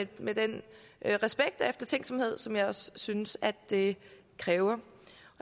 det med den respekt og eftertænksomhed som jeg også synes at det kræver